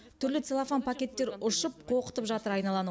түрлі целлофан пакеттер ұшып қоқытып жатыр айналаны